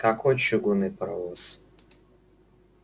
какой чугунный паровоз